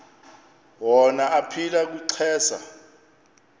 wona aphila kwixesha